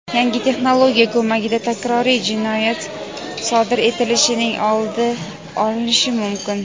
Yangi texnologiya ko‘magida takroriy jinoyat sodir etilishining oldi olinishi mumkin.